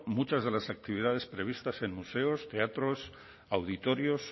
muchas de las actividades previstas en museos teatros auditorios